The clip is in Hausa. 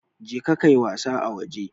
Je ka ka yi wasa a waje!